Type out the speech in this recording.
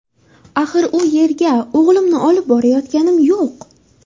Axir u yerga o‘g‘limni olib borayotganim yo‘q.